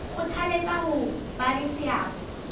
kgothaletsa ho ba le seabo